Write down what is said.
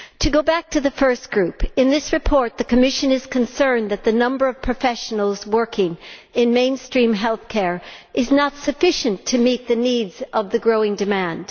Going back to the first group, in this report, the Commission is concerned that the number of professionals working in mainstream healthcare is not sufficient to meet the needs of the growing demand.